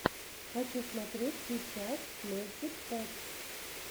хочу смотреть сейчас мэджик петс